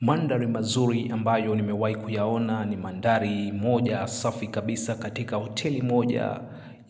Mandari mazuri ambayo nimewai kuyaona ni mandari moja safi kabisa katika hoteli moja